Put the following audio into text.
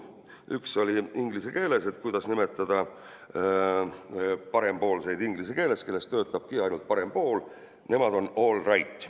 Üks oli inglise keeles, et kuidas nimetada parempoolseid inglise keeles, kellest töötabki ainult parem pool – nemad on all right.